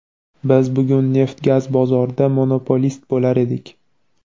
biz bugun neft-gaz bozorida monopolist bo‘lar edik.